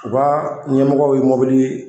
U ka ɲɛmɔgɔ ye mobili